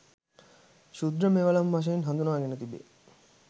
ක්‍ෂුද්‍ර මෙවලම් වශයෙන් හඳුනාගෙන තිබේ.